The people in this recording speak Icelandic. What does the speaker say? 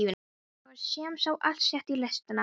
Þá var sem sé allt sett í lestina.